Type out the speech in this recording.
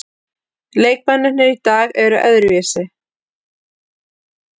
Leikmennirnir í dag eru öðruvísi.